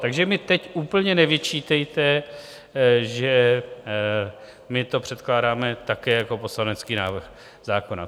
Takže mi teď úplně nevyčítejte, že my to předkládáme také jako poslanecký návrh zákona.